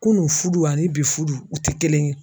Kunun fudu ani bi fudu u tɛ kelen ye.